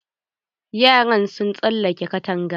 Yaran sun tsalake katanga.